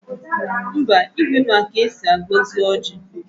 Mba, Igwe ma ka esi agọzi ọjị